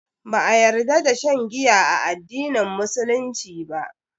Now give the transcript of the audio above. Ba a ƴarda da shan giya a addinin musulunci ba.